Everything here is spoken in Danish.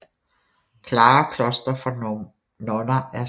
Klare Kloster for nonner af Skt